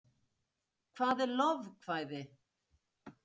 hvað er lovekvæði